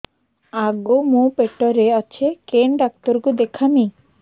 ଆଗୋ ମୁଁ ପେଟରେ ଅଛେ କେନ୍ ଡାକ୍ତର କୁ ଦେଖାମି